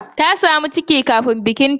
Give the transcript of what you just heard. Ta samu ciki kafin bikinta.